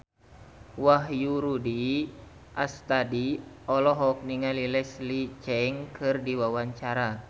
Wahyu Rudi Astadi olohok ningali Leslie Cheung keur diwawancara